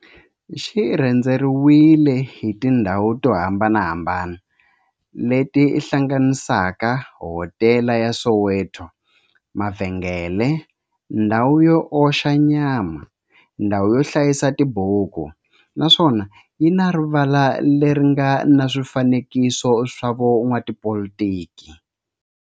Xi rhendzeriwile hi tindhawu to hambanahambana le ti hlanganisaka, hodela ya Soweto, mavhengele, ndhawu yo oxa nyama, ndhawu yo hlayisa tibuku, naswona yi na rivala le ri nga na swifanekiso swa vo n'watipolitiki.